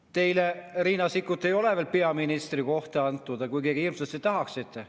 Teile, Riina Sikkut, ei ole veel peaministri kohta antud, kuigi te seda nii hirmsalt tahaksite.